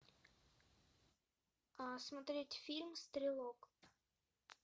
а смотреть фильм стрелок